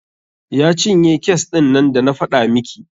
Ya cinye kes ɗin nan da na faɗa miki.